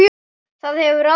Það hefur áhrif.